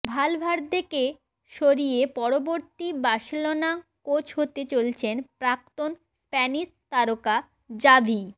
ভালভার্দেকে সরিয়ে পরবর্তী Barcelona coach হতে চলেছেন প্রাক্তন স্প্যানিশ তারকা জাভি